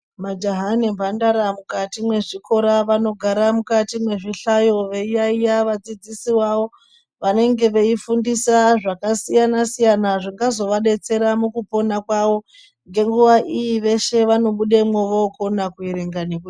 Majaha nemhandara mukati mwezvikora vanogara mukati mwezvihlayo veitaiya vadzidzisi vavo vanenge veifundisa zvakasiyana siyana zvingazovadetsera mukupona kwawo ngenguwa iyi veshe vanobudemwo vokona kuerenga nekunyo.